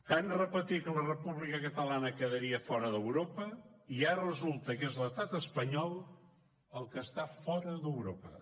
tant repetir que la república catalana quedaria fora d’europa i ara resulta que és l’estat espanyol el que està fora d’europa